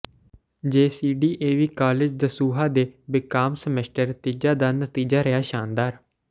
JCDAV college Dasuya ਦੇ BCom semester ਤੀਜਾ ਦਾ ਨਤੀਜਾ ਰਿਹਾ ਸ਼ਾਨਦਾਰ